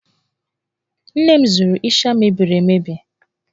Nne m zụrụ ịsha mebiri emebi.